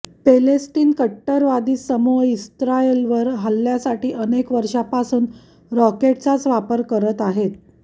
पॅलेस्टिनी कट्टरवादी समूह इस्रायलवर हल्ल्यासाठी अनेक वर्षांपासून रॉकेटचाच वापर करत आहेत